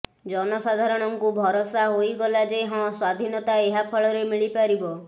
ଜନସାଧାରଣଙ୍କୁ ଭରସା ହୋଇଗଲା ଯେ ହଁ ସ୍ୱାଧୀନତା ଏହାଫଳରେ ମିଳିପାରିବ